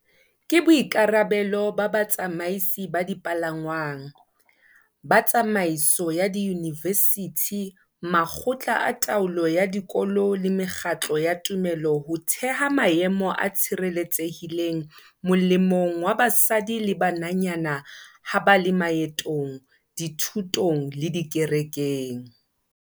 Ke boikarabelo ba batsamaisi ba dipalangwang, ba tsamaiso ya diyunivesithi, makgotla a taolo ya dikolo le mekgatlo ya tumelo ho theha maemo a tshireletsehileng molemong wa basadi le bananyana ha ba le maetong, dithutong le dikerekeng.